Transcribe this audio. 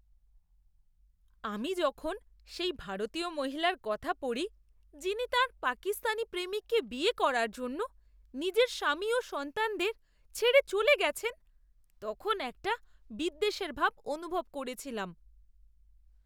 আমি যখন সেই ভারতীয় মহিলার কথা পড়ি যিনি তাঁর পাকিস্তানি প্রেমিককে বিয়ে করার জন্য নিজের স্বামী ও সন্তানদের ছেড়ে চলে গেছেন, তখন একটা বিদ্বেষের ভাব অনুভব করেছিলাম।